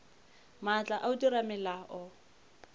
maatla a go dira melao